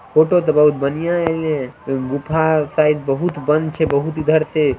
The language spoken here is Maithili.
फोटो ते बहुत बढ़िया ऐले है। गुफा साइड बहुत बंद छै बहुत इधर से।